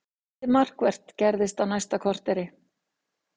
Lítið markvert gerðist næsta korterið.